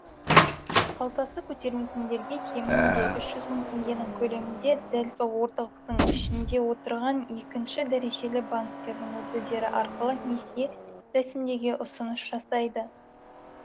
қалтасы көтермейтіндерге кемінде үш жүз мың теңгенің көлемінде дәл сол орталықтың ішінде отырған екінші дәрежелі банктердің өкілдері арқылы несие рәсімдеуге ұсыныс жасайды